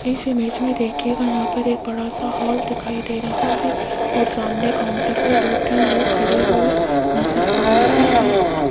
इस इमेज में देखिएगा यहां पर एक बड़ा सा हॉल दिखाई दे रहा है और सामने काउंटर पर दो तीन लोग खड़े हुए नजर आ रहे हैं।